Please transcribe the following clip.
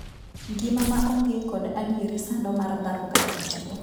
Ngima ma onge kod adieri sando mar dhako kata dichwo.